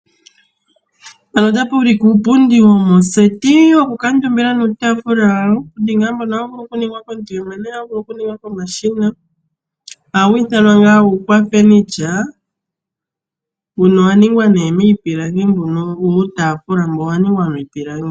Mpano otapu ulike uupundi womoseti woku kuukamutumba nuutafula wawo. Uupundi mbono ohawu vulu oku ningwa komuntu yemwene wo ohawu vulu oku ningwa komashina. Oha wu ithanwa ngaa ukwafenitya. Mbuno owa ningwa nee miipilangi mbuno uutafula mbuno owa ningwa miipilangi.